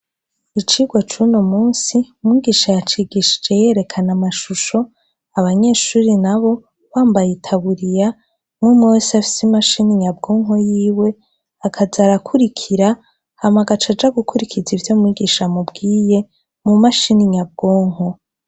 Icigwa c'uno musi, mwigisha yacigishije yerekana amashusho, abanyeshure nabo bambaye itaburiya, umwe umwe wese afise imashini nyabwonko yiwe, akaza arakurikira, akaca aza gukurikiza ivyo mwigisha amubwiye, mu mashini nyabwonko.